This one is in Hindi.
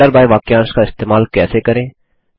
आर्डर बाय वाक्यांश का इस्तेमाल कैसे करें